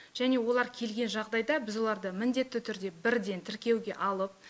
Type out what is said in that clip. және олар келген жағдайда біз оларды міндетті түрде бірден тіркеуге алып